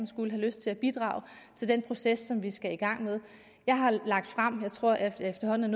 skulle have lyst til at bidrage til den proces som vi skal i gang med jeg har fremlagt tror jeg efterhånden